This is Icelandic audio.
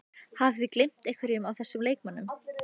Hafið þið gleymt einhverjum af þessum leikmönnum?